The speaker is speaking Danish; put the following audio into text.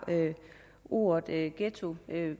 ordet ghetto